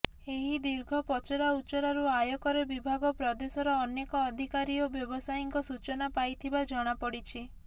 ଏହି ଦୀର୍ଘ ପଚରା ଉଚରାରୁ ଆୟକର ବିଭାଗ ପ୍ରଦେଶର ଅନେକ ଅଧିକାରୀ ଓ ବ୍ୟବସାୟୀଙ୍କ ସୂଚନା ପାଇଥିବା ଜଣାପଡିଛି